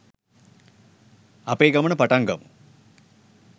අපේ ගමන පටන් ගමු